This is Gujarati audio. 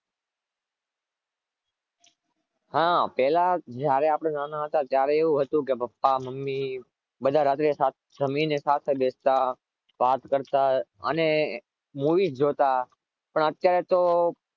હા પેહલા જયારે આપણે નાના હતા મમ્મી પપ્પા બધા રાત્રે જમીને સાથે બેસ્ટ વાત કરતા અને movies જોતા પણ અત્યારે તો